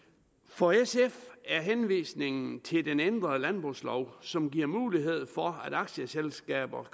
for sf er henvisningen til den ændrede landbrugslov som giver mulighed for at aktieselskaber